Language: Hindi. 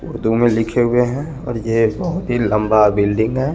उर्दू में लिखेंगे है और ये तिन लम्बा बिल्डिंग है।